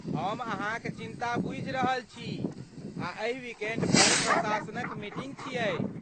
हम अहाँक चिंता बूझि रहल छी आ एहि विकेंड पर प्रशासनक मीटिंग छियै।